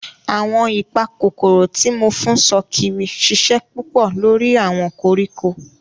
Awọn ipakokoro ti mo fun sokiri ṣiṣẹ pupọ lori awọn koriko.